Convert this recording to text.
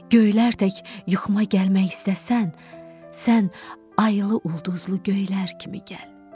Göylər tək yuxuma gəlmək istəsən, sən aylı ulduzlu göylər kimi gəl.